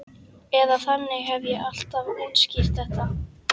Eða þannig hef ég alltaf útskýrt þetta.